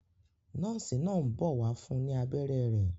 Nọ́ọ́sì náà ń bọ̀ wá fún ní abẹ́rẹ́ rẹ̀.